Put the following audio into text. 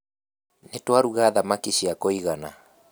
Nĩtwaruga thamaki cia kũigana